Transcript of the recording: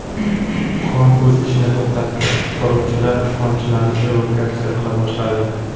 Kon o‘z ishini to‘xtatdi, qutqaruvchilar konchilarni evakuatsiya qila boshladi.